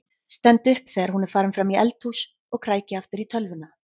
Stend upp þegar hún er farin fram í eldhús og kræki aftur í tölvuna.